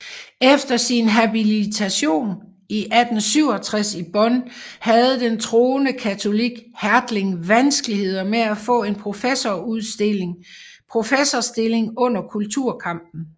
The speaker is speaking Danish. Efter sin habilitation i 1867 i Bonn havde den troende katolik Hertling vanskeligheder med at få en professorstilling under kulturkampen